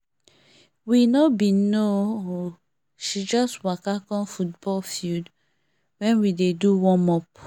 we no been know o she just waka come football field when we dey do warmup